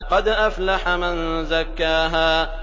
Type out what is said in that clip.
قَدْ أَفْلَحَ مَن زَكَّاهَا